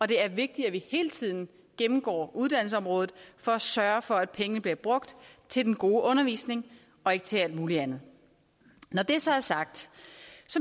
det er vigtigt at vi hele tiden gennemgår uddannelsesområdet for at sørge for at pengene bliver brugt til den gode undervisning og ikke til alt muligt andet når det så er sagt